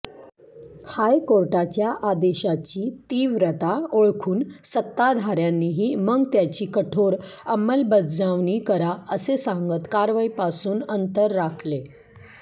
हायकोर्टाच्या आदेशाची तीव्रता ओळखून सत्ताधाऱ्यांनीही मग त्याची कठोर अंमलबजावणी करा असे सांगत कारवाईपासून अंतर राखले